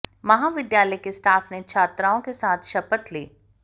महाविद्यालय के स्टाफ ने छात्राओं के साथ शपथ ली